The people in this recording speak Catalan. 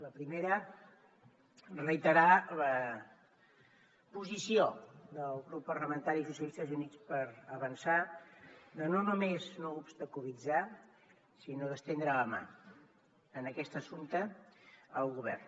la primera reiterar la posició del grup parlamentari socialistes i units per avançar de no només no obstaculitzar sinó d’estendre la mà en aquest assumpte al govern